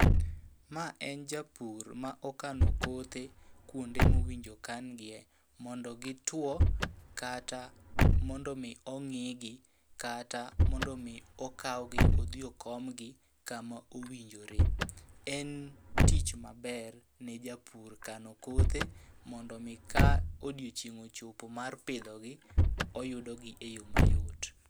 Ma en japur ma okano kothe kuonde mowinjo kangie mondo gituo, kata mondo mi ong'i gi. Kata mondo mi okawgi odhi okomgi kama owinjore. En tich maber ne japur kano kothe mondo mi ka odiochieng' ochopo mar pidhogi, oyudo gi e yo mayot.